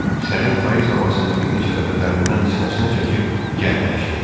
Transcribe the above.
Sərin payız havasını bir neçə dəfə dərindən sinəsinə çəkib gərnəşdi.